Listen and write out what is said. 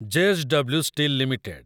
J S W steel limited